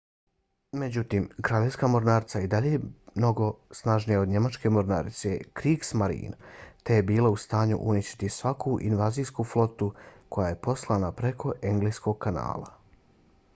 međutim kraljevska mornarica i dalje je bila mnogo snažnija od njemačke mornarice kriegsmarine te je bila u stanju uništiti svaku invazijsku flotu koja je poslana preko engleskog kanala